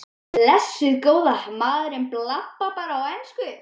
Blessuð góða. maður bablar bara á ensku.